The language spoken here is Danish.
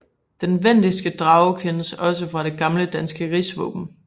Den vendiske drage kendes da også fra det gamle danske rigsvåben